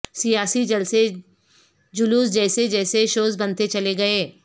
سیاسی جلسے جلوس جیسے جیسے شوز بنتے چلے گئے